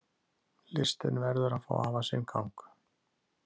Listin verður að fá að hafa sinn gang.